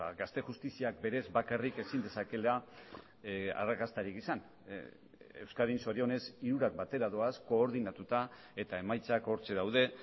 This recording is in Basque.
gazte justiziak berez bakarrik ezin dezakeela arrakastarik izan euskadin zorionez hirurak batera doaz koordinatuta eta emaitzak hortxe daude